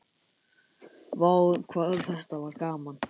Vá hvað þetta var gaman.